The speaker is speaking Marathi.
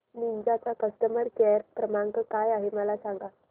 निंजा चा कस्टमर केअर क्रमांक काय आहे मला सांगा